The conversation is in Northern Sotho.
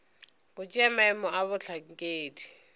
go tšea maemo a bohlankedi